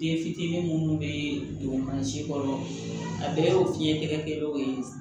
Den fitinin minnu bɛ don mansin kɔnɔ a bɛɛ ye o fiɲɛ tɛ kɛ dɔw ye